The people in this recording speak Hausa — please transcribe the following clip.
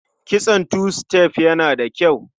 Kitson tu-sitef yana da kyau.